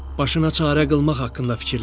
Başına çarə qılmaq haqqında fikirləş.